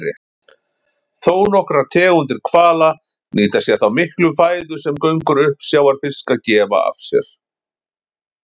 Þónokkrar tegundir hvala nýta sér þá miklu fæðu sem göngur uppsjávarfiska gefa af sér.